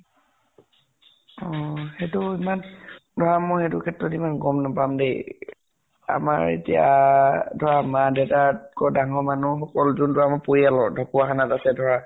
উম সেইটো ইমান ধৰা মই এইটো ক্ষেত্ৰত ইমান গম নাপাম দে। আমাৰ এতিয়া ধৰা মা দেউতাত্কৈ ডাঙৰ মানুহ সকল যোনটো আমাৰ পৰিয়ালৰ ঢ্কুৱাখানাত আছে ধৰা